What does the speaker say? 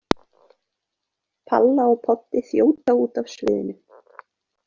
Palla og Poddi þjóta út af sviðinu.